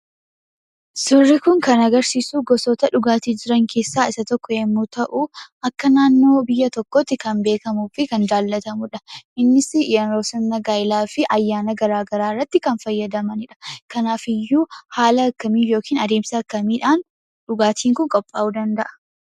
Suurri kun kan agarsiisu gosoota dhugaatii jiran keessaa isa tokko yemmuu ta'u, akka naannoo biyya tokkootti kan beekamuu fi kan jaallatamudha. Innis yeroo sirna gaa'elaa fi ayyaana garaa garaa irratti kan fayyadamanidha. Kanaafiyyuu haala akkamiin yookiin adeemsa akkamiidhaan dhugaatiin kun qophaa'uu danda'a?